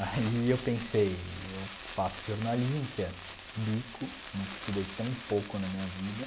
Aí eu pensei, eu faço jornalismo, que é bico, nunca estudei tão pouco na minha vida.